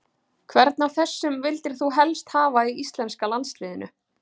Hvern af þessum vildir þú helst hafa í íslenska landsliðinu?